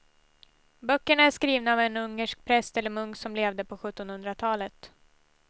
Böckerna är skrivna av en ungersk präst eller munk som levde på sjuttonhundratalet.